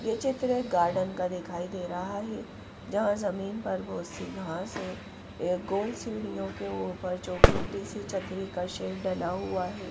ये चित्र एक गार्डन का दिखाई दे रहा है जहां जमीन पर बहुत सी घास है एक गोल सीढ़ियों के ऊपर चौखुट्टी सी छतरी का शेर डला हुआ है।